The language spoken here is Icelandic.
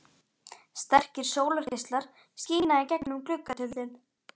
Sterkir sólargeislar skína í gegnum gluggatjöldin.